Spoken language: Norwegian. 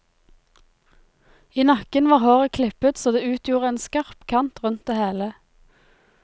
I nakken var håret klippet så det utgjorde en skarp kant rundt det hele.